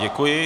Děkuji.